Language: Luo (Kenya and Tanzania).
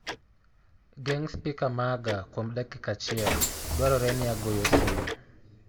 geng' spika maga kuom dakika achiel, dwarore ni agoyo simu